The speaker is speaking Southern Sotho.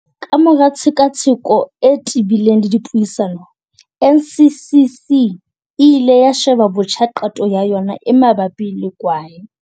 Kamora tshekatsheko e te-bileng le dipuisano, NCCC e ile ya sheba botjha qeto ya yona e mabapi le kwae.